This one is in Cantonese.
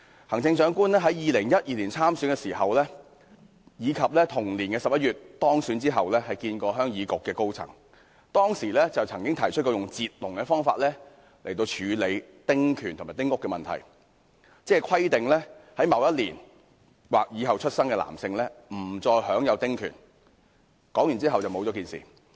行政長官在2012年參選時，以及在同年11月當選後會見鄉議局高層時表示，可以用"截龍"的方式解決丁屋及丁權問題，即規定某一年或以後出生的男性新界原居民不再享有丁權，但後來不了了之。